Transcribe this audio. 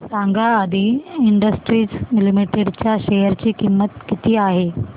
सांगा Adi industries limited च्या share ची किंमत किती आहे